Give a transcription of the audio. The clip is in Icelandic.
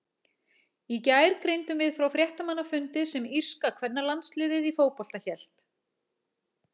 Í gær greindum við frá fréttamannafundi sem írska kvennalandsliðið í fótbolta hélt.